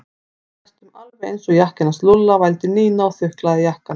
Hann er næstum alveg eins og jakkinn hans Lúlla vældi Nína og þuklaði jakkann.